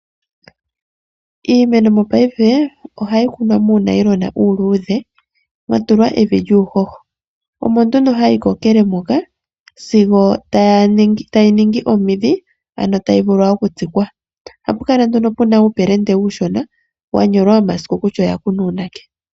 Iimeno mopaife ohai kunwa muunailona uluudhe mwa tulwa evi lyuu ho ho. Omo nduno hai kokele moka sigo tayi ningi omidhi ano tai vulu oku tsikwa. Ohapu kala nduno puna uupelende uushona wanyolwa omasiku kutya oya kunwa uunake.